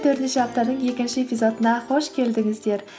төртінші аптаның екінші эпизодына қош келдіңіздер